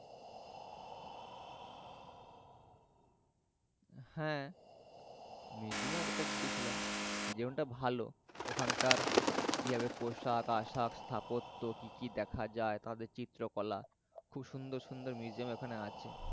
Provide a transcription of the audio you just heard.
হ্যা। museum এ একটা গেছিলাম। museum টা ভালো ওখানকার কিভাবে পোশাক আশাক স্তাপত্য কি দেখা যায় তাদের চিত্রকলা। খুব সুন্দর সুন্দর মিউজিয়ম ওখানে আছে।